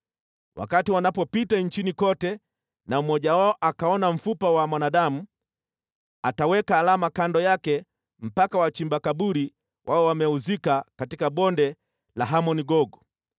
Wakati wanapopita nchini kote na mmoja wao akaona mfupa wa mwanadamu, ataweka alama kando yake mpaka wachimba kaburi wawe wameuzika katika Bonde la Hamon-Gogu.